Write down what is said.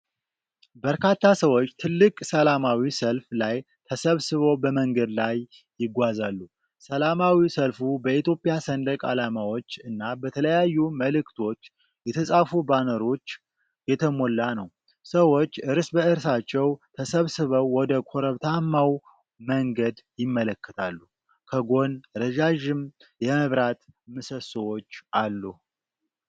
በርካታ ሰዎች ትልቅ ሰላማዊ ሰልፍ ላይ ተሰብስበው በመንገድ ላይ ይጓዛሉ። ሰላማዊ ሰልፉ በኢትዮጵያ ሰንደቅ ዓላማዎች እና በተለያዩ መልዕክቶች የተጻፉ ባነሮች የተሞላ ነው። ሰዎች እርስ በእርሳቸው ተሰባስበው ወደ ኮረብታማው መንገድ ይመለከታሉ። ከጎን ረዣዥም የመብራት ምሰሶዎች አሉ።